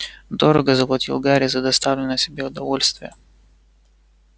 дорого заплатил гарри за доставленное себе удовольствие